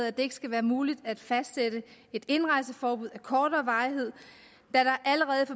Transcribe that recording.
at det ikke skal være muligt at fastsætte et indrejseforbud af kortere varighed da der allerede